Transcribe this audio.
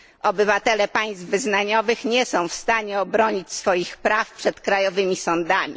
Obywatele państw wyznaniowych nie są w stanie obronić swoich praw przed krajowymi sądami.